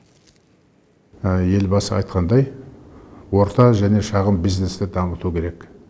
елбасы айтқандай орта және шағын бизнесті дамыту керек